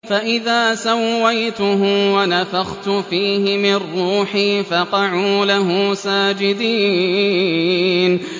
فَإِذَا سَوَّيْتُهُ وَنَفَخْتُ فِيهِ مِن رُّوحِي فَقَعُوا لَهُ سَاجِدِينَ